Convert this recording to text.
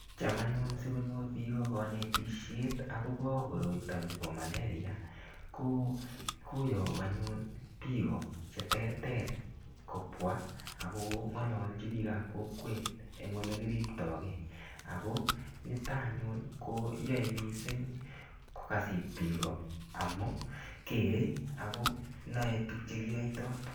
Cham anyun sikonyor biiko kanetisiet akobo koroito nebo malaria, ko koyagu anyun biiko che terter kobwa ako ng'alalchi biikap kokwet eng ole kiriptokei. Ako nito anyun, koyae missing kokasit biiko. Amu kere akonae tugchekiyaitoi.